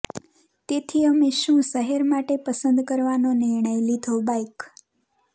તેથી અમે શું શહેર માટે પસંદ કરવાનો નિર્ણય લીધો બાઇક